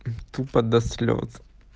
тупо до слёз